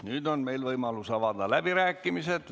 Nüüd on meil võimalus avada läbirääkimised.